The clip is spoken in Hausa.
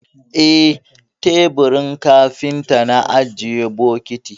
Eh, a teburin kafinta na ajiye bokiti.